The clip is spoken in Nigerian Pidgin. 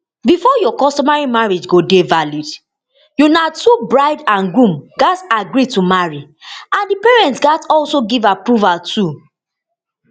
bifor your customary marriage go dey valid una two bride and groom gatz agree to marry and di parents gatz also give approval too